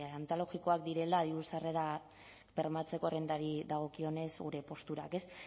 antologikoak direla diru sarrerak bermatzeko errentari dagokionez gure posturak ez